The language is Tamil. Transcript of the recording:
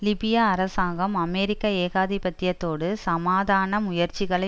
லிபியா அரசாங்கம் அமெரிக்க ஏகாதிபத்தியத்தோடு சமாதான முயற்சிகளை